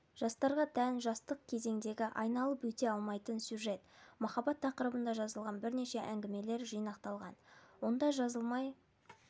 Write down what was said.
жастарға тән жастық кезеңдегі айналып өте алмайтын сюжет-махаббат тақырыбында жазылған бірнеше әңгімелер жинақталған онда жазылмай